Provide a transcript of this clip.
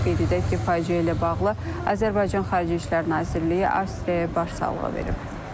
Qeyd edək ki, faciə ilə bağlı Azərbaycan Xarici İşlər Nazirliyi Avstriyaya başsağlığı verib.